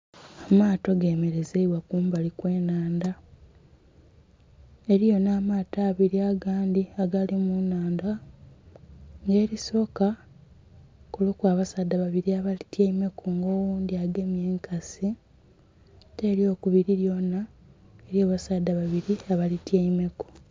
Amaato gemelezeibwa kumbali kw'ennhandha. Eliyo nh'amaato abili agandhi agali mu nnhandha. Nga elisooka kuliku abasaadha babili abalityaimeku nga oghundhi agemye enkasi. Ate ely'okubili lyona eliyo abasaadha babili abalityaimeku.